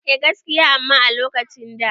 Eh gaskiya amma a lokacin da